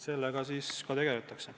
Sellega ka tegeletakse.